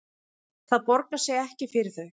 Það borgar sig ekki fyrir þau